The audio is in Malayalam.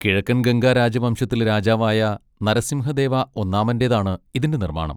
കിഴക്കൻ ഗംഗാ രാജവംശത്തിലെ രാജാവായ നരസിംഹദേവ ഒന്നാമന്റേതാണ് ഇതിന്റെ നിർമ്മാണം.